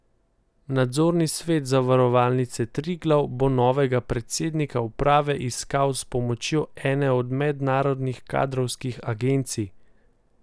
Nadzorni svet Zavarovalnice Triglav bo novega predsednika uprave iskal s pomočjo ene od mednarodnih kadrovskih agencij.